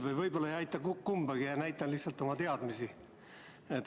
Aga võib-olla ei aita ma kumbagi, näitan lihtsalt oma teadmisi.